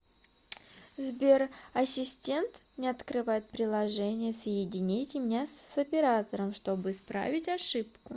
сбер ассистент не открывает приложение соедините меня с оператором чтобы исправить ошибку